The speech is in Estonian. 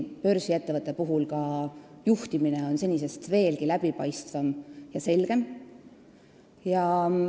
Börsiettevõtte puhul on pluss ka see, et juhtimine on senisest veelgi läbipaistvam ja selgem.